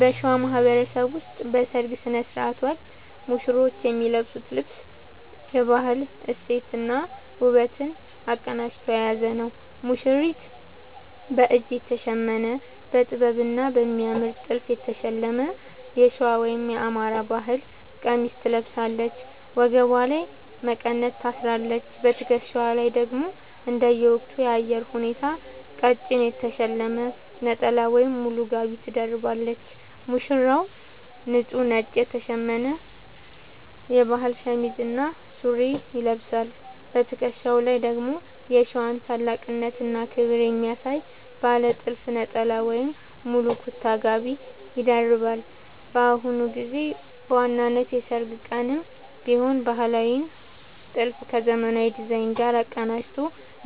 በሸዋ ማህበረሰብ ውስጥ በሠርግ ሥነ ሥርዓት ወቅት ሙሽሮች የሚለብሱት ልብስ የባህል እሴትንና ውበትን አቀናጅቶ የያዘ ነው፦ ሙሽሪት፦ በእጅ የተሸመነ: በጥበብና በሚያምር ጥልፍ የተሸለመ የሸዋ (የአማራ) ባህል ቀሚስ ትለብሳለች። ወገቧ ላይ መቀነት ታስራለች: በትከሻዋ ላይ ደግሞ እንደየወቅቱ የአየር ሁኔታ ቀጭን የተሸለመ ነጠላ ወይም ሙሉ ጋቢ ትደርባለች። ሙሽራው፦ ንጹህ ነጭ የተሸመነ የባህል ሸሚዝ እና ሱሪ ይለብሳል። በትከሻው ላይ ደግሞ የሸዋን ታላቅነትና ክብር የሚያሳይ ባለ ጥልፍ ነጠላ ወይም ሙሉ ኩታ (ጋቢ) ይደርባል። በአሁኑ ጊዜ በዋናው የሠርግ ቀንም ቢሆን ባህላዊውን ጥልፍ ከዘመናዊ ዲዛይን ጋር አቀናጅቶ